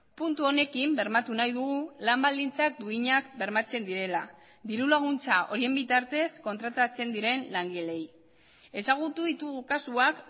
puntu honekin bermatu nahi dugu lan baldintza duinak bermatzen direla dirulaguntza horien bitartez kontratatzen diren langileei ezagutu ditugu kasuak